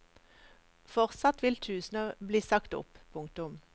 Fortsatt vil tusener bli sagt opp. punktum